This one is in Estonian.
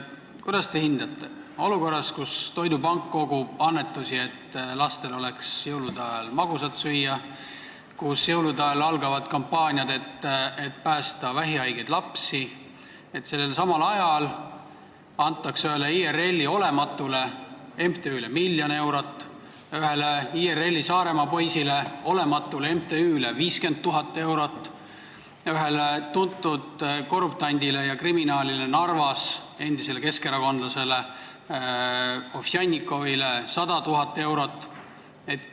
Kuidas te hindate olukorras, kus jõulude ajal kogub toidupank annetusi, et lapsed saaks magusat süüa, ja algavad kampaaniad vähihaigete laste päästmiseks, seda, et sellelsamal ajal antakse ühele IRL-i olematule MTÜ-le miljon eurot, ühele IRL-i Saaremaa poisile, olematule MTÜ-le 50 000 eurot ning ühele tuntud korruptandile ja kriminaalile Narvas, endisele keskerakondlasele Ovsjannikovile 100 000 eurot?